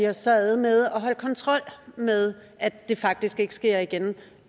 os ad med at holde kontrol med at det faktisk ikke sker igen